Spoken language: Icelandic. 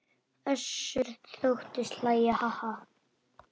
Össur þóttist hlæja:- Ha ha.